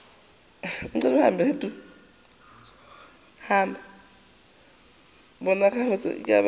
bona gabotse ka tlase ga